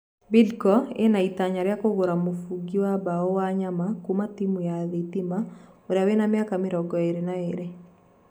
Bidco ĩna ĩtanya rĩa kũgûra mũbũngi wa mbao Wanyama kuuma timũ ya Thitima uria wina miaka mĩrongo ĩrĩ na ĩrĩ.